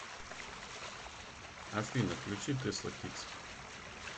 афина включи тэсла кидс